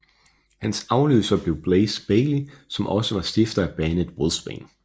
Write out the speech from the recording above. Hans afløser blev Blaze Bayley som også var stifter af bandet Wolfsbane